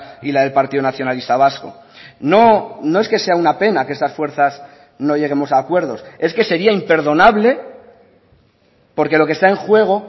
y la del partido nacionalista vasco no no es que sea una pena que estas fuerzas no lleguemos a acuerdos es que sería imperdonable porque lo que está en juego